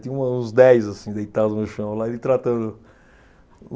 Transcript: Tinha uma uns dez assim, deitados no chão. Lá ele tratando